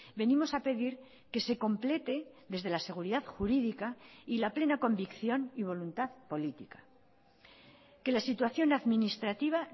venimos a pedir que se complete desde la seguridad jurídica y la plena convicción y voluntad política que la situación administrativa